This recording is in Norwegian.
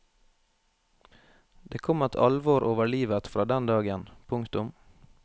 Det kom et alvor over livet fra den dagen. punktum